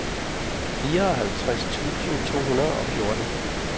fireoghalvtreds tusind to hundrede og fjorten